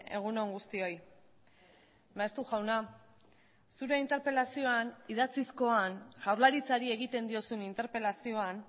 egun on guztioi maeztu jauna zure interpelazioan idatzizkoan jaurlaritzari egiten diozun interpelazioan